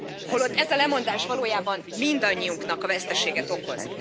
Holott ez a lemondás valójában mindannyiunknak veszteséget okoz.